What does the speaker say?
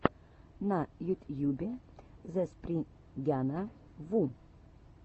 на ютьюбе зэспрингяна ву